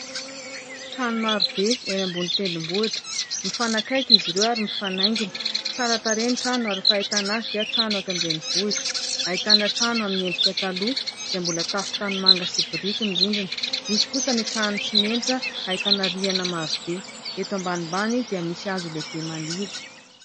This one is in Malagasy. Trano marobe eny ambony tendrombohitra mifanakaiky izy ireo ary mifanaingina. Tsara tarehy ny trano ary fahitana azy dia trano eto an-drenivohitra. Ahitana trano amin'ny endrika taloha izay mbola tafo tanimanga sy biriky ny rindrina ; misy kosa ny trano simenitra ahitana rihana marobe. Eto ambanimbany dia misy hazo lehibe maniry.